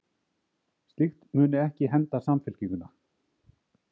Slíkt muni ekki henda Samfylkinguna